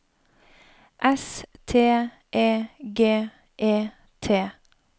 S T E G E T